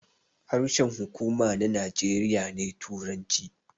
Harshen huƙuma na Najeriya ne turanci